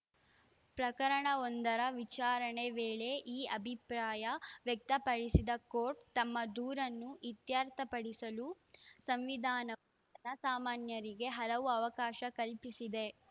ಪ್ರಕರಣವೊಂದರ ವಿಚಾರಣೆ ವೇಳೆ ಈ ಅಭಿಪ್ರಾಯ ವ್ಯಕ್ತಪಡಿಸಿದ ಕೋರ್ಟ್‌ ತಮ್ಮ ದೂರನ್ನು ಇತ್ಯರ್ಥಪಡಿಸಲು ಸಂವಿಧಾನವು ಜನಸಾಮಾನ್ಯರಿಗೆ ಹಲವು ಅವಕಾಶ ಕಲ್ಪಿಸಿದೆ